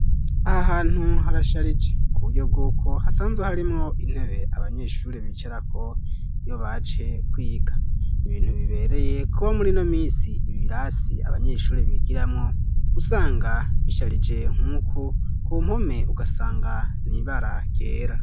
Aha hantu harasharije ku buryo bwuko hasanzwe harimwo intebe abanyeshuri bicerako iyo baje kwiga. Ibintu bibereye kuba muri ino mins ibiirasi abanyeshuri bigiramwo, usanga bisharije nk'uku. Ku mpome ugasanga n'ibara ryera.